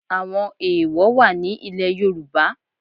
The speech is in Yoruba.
Àwọn èèwọ̀ wà ní ilẹ̀ Yorùbá